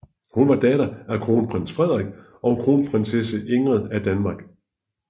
Hun var datter af kronprins Frederik og kronprinsesse Ingrid af Danmark